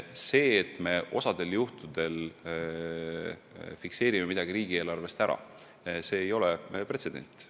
See, et me selle summa riigieelarves fikseerime, ei ole pretsedent.